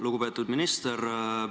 Lugupeetud minister!